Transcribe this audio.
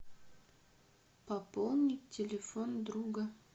пополнить телефон друга